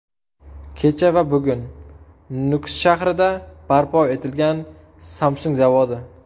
Kecha va bugun: Nukus shahrida barpo etilgan Samsung zavodi .